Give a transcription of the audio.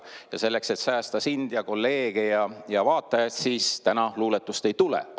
Ja selleks, et säästa sind ja kolleege ja vaatajaid, täna luuletust ei tule.